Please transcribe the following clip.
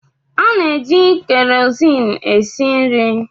Ana-eji keroziin esi nri.